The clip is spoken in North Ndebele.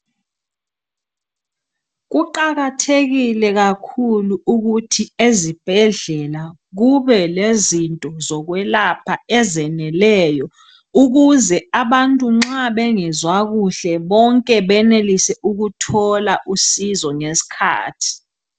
Kuqakathekile kakhulu ukuthi ezibhedlela kube lezinto zokwelapha ezeneleyo ukuze abantu nxa bengezwa kuhle bonke benelise ukuthola usizo ngeskhathi.